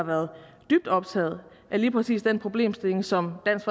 har været dybt optaget af lige præcis den problemstilling som dansk